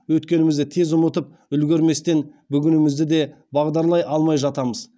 өткенімізді тез ұмытып үлгірместен бүгінімізді де бағдарлай алмай жатамыз